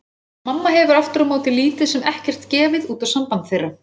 Mamma hefur aftur á móti lítið sem ekkert gefið út á samband þeirra.